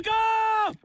Baqqa!